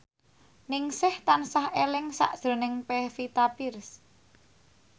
Ningsih tansah eling sakjroning Pevita Pearce